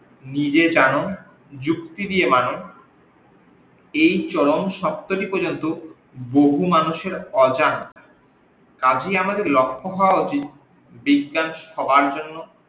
নিজে জানো যুক্তি দিয়ে মানো এই চরম সত্যটি পর্যন্ত বহু মানুষের অজাত, কাজেই আমাদের লক্ষ্য হওয়া উচিত বিজ্ঞান সবার জন্য